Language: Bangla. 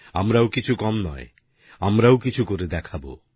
আমরাও কিছু কম নয় আমরাও কিছু করে দেখাবো